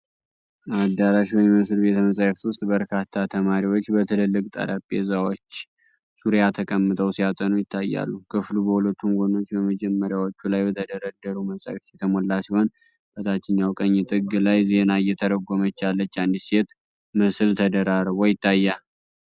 አዳራሽ በሚመስል ቤተ-መጻሕፍት ውስጥ፣ በርካታ ተማሪዎች በትልልቅ ጠረጴዛዎች ዙሪያ ተቀምጠው ሲያጠኑ ይታያሉ። ክፍሉ በሁለቱም ጎኖች በመደርደሪያዎች ላይ በተደረደሩ መጻሕፍት የተሞላ ሲሆን፣ በታችኛው ቀኝ ጥግ ላይ ዜና እየተረጎመች ያለች አንዲት ሴት ምስል ተደራርቦ ይታያል።